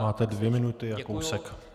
Máte dvě minuty a kousek.